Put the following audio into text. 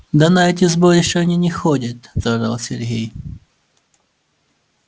да на эти сборища они не ходят заорал сергей